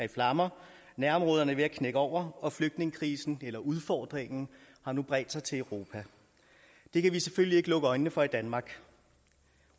i flammer nærområderne er ved at knække over og flygtningekrisen eller udfordringen har nu bredt sig til europa det kan vi selvfølgelig ikke lukke øjnene for i danmark